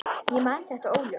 Ég man þetta óljóst.